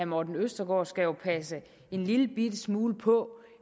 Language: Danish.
morten østergaard skal passe en lillebitte smule på